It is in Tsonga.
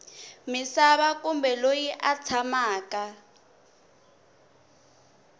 misava kumbe loyi a tshamaka